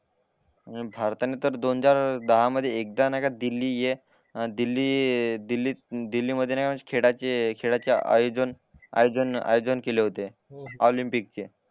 भारताने पण दोनजार दहा मध्ये एकदा नाही का दिल्ली हे दिल्ली दिल्ली दिल्लीमध्ये नाय का खेळाचे खेळाचे आयझोन आयझोन आयझोन केले होते ऑलिंपिकचे